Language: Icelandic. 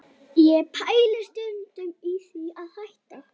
Ég pæli stundum í því að hætta